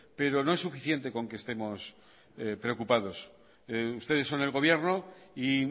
pero no es suficiente con que estemos preocupados ustedes son el gobierno y